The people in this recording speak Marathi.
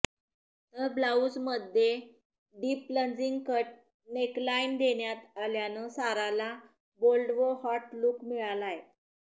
तर ब्लाउजमध्ये डीप प्लंजिंग कट नेकलाइन देण्यात आल्यानं साराला बोल्ड व हॉट लुक मिळालाय